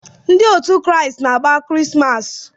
Ndị Kraịst na-agba Krismas.